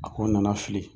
A ko nana fili